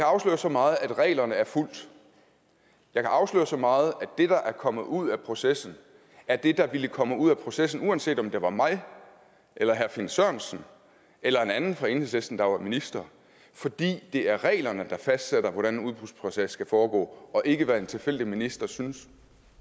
afsløre så meget at reglerne er fulgt jeg kan afsløre så meget at det der er kommet ud af processen er det der ville komme ud af processen uanset om det var mig eller herre finn sørensen eller en anden fra enhedslisten der var minister fordi det er reglerne der fastsætter hvordan en udbudsproces skal foregå og ikke hvad en tilfældig minister synes